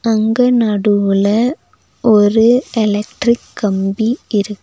அங்க நடுவுல ஒரு எலக்ட்ரிக் கம்பி இருக்கு.